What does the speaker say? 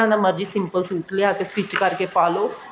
ਤਰ੍ਹਾਂ ਦਾ ਮਰਜੀ simple suit ਲਿਆਕੇ stich ਕਰਕੇ ਪਾਲੋ